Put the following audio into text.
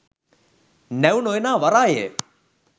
නැව් නො එනා වරාය ය